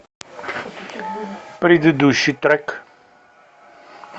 предыдущий трек